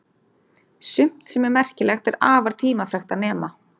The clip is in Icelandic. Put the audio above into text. Sumt sem er merkilegt er afar tímafrekt að nema.